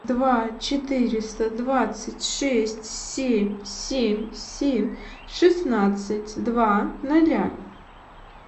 два четыреста двадцать шесть семь семь семь шестнадцать два ноля